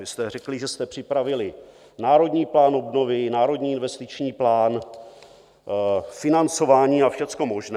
Vy jste řekli, že jste připravili Národní plán obnovy, Národní investiční plán, financování a všechno možné.